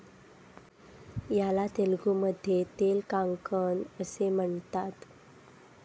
याला तेलगुमध्ये तेल कांकनं असे म्हणतात.